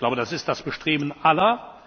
Ich glaube, das ist das Bestreben aller.